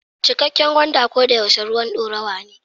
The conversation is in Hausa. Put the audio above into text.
Cikakken gwanda ko da yaushe ruwan dorawa ne.